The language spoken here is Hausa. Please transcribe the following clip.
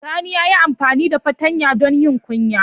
Sani ya yi amfani da fartanya don yin kunya.